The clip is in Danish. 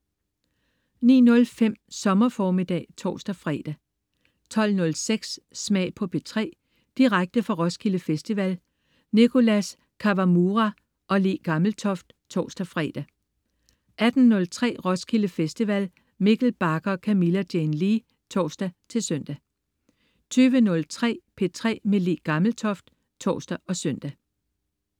09.05 Sommer formiddag (tors-fre) 12.06 Smag på P3. Direkte fra Roskilde Festival. Nicholas Kawamura/Le Gammeltoft (tors-fre) 18.03 Roskilde Festival. Mikkel Bagger og Camilla Jane Lea (tors-søn) 20.03 P3 med Le Gammeltoft (tors og søn)